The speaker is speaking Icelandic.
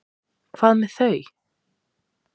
Hvað með þau?